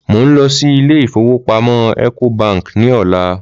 Mò ń lọ sí ilé ìfowópamọ́ Ecobank ní ọ̀la